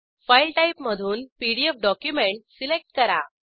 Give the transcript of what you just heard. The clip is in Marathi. फाइल टाइप मधून पीडीएफ डॉक्युमेंट सिलेक्ट करा